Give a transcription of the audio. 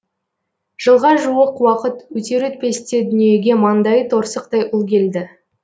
жылға жуық уақыт өтер өтпесте дүниеге маңдайы торсықтай ұл келді